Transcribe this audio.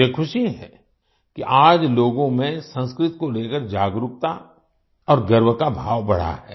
मुझे ख़ुशी है कि आज लोगों में संस्कृत को लेकर जागरूकता और गर्व का भाव बढ़ा है